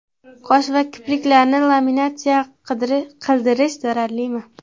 Qosh va kipriklarni laminatsiya qildirish zararlimi?